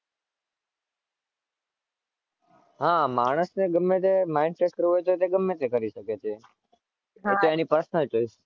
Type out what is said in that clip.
હાં માણસને ગમે ત્યારે mind fresh કરવુ હોય તો ગમે તે કર શકે છે. કેમ કે એની personal choice છે.